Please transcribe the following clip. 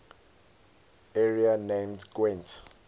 area named gwent